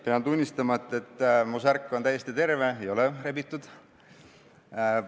Pean tunnistama, et mu särk on täiesti terve, ei ole rebitud.